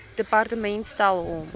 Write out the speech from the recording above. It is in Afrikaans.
departement stel hom